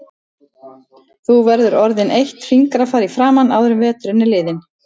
Þú verður orðin eitt fingrafar í framan áður en veturinn er liðinn